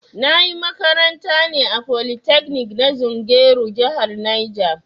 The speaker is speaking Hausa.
Na ƴi makaranta ne a polytekni na zungeru jihar Niger